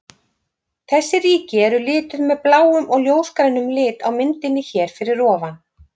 Þessi ríki eru lituð með bláum og ljósgrænum lit á myndinni hér fyrir ofan.